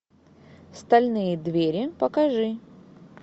стальные двери покажи